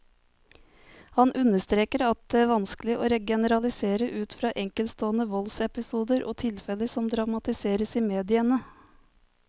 Han understreker at det vanskelig å generalisere ut fra enkeltstående voldsepisoder og tilfeller som dramatiseres i mediene.